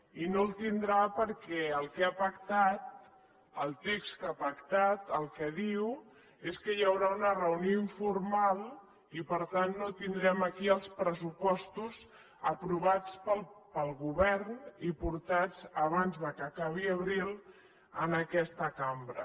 i no el tindrà perquè el que ha pactat el text que ha pactat el que diu és que hi haurà una reunió informal i per tant no tindrem aquí els pressupostos aprovats pel govern i portats abans que acabi abril a aquesta cambra